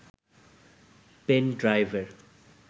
pen ড্রাইভের